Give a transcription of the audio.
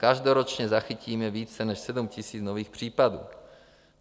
Každoročně zachytíme více než 7 000 nových případů.